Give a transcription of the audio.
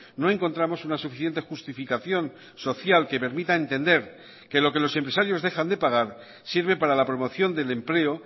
no encontramos una suficiente justificación social que permita entender que lo que los empresarios dejan de pagar sirve para la promoción del empleo